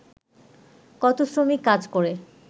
কত শ্রমিক কাজ করে